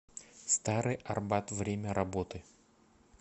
старый арбат время работы